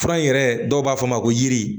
Fura in yɛrɛ dɔw b'a fɔ ma ko yiri